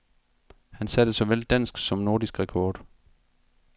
Han satte såvel dansk som nordisk rekord.